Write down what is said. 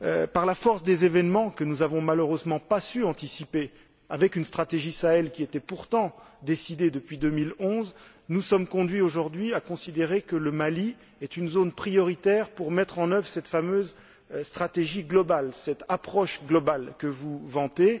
Par la force des événements que nous n'avons malheureusement pas su anticiper, avec une stratégie Sahel qui était pourtant décidée depuis 2011, nous sommes amenés aujourd'hui à considérer que le Mali est une zone prioritaire pour la mise en œuvre de cette fameuse stratégie globale, cette approche globale, que vous vantez.